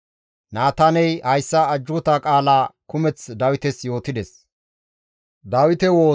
Naataaney hayssa ajjuuta qaala kumeth Dawites yootides.